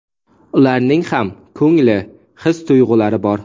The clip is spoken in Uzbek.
Ularning ham ko‘ngli, his tuyg‘ulari bor.